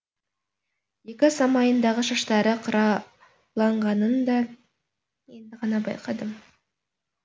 екі самайындағы шаштары қырауланғанын да енді ғана байқадым